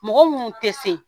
Mɔgɔ minnu tɛ se